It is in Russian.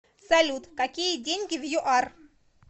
салют какие деньги в юар